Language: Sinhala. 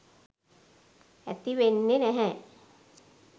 ඇති වෙන්නෙ නැහැ.